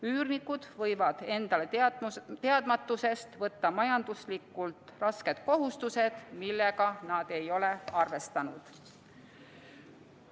Üürnikud võivad endale teadmatusest võtta majanduslikult rasked kohustused, millega nad ei ole arvestanud.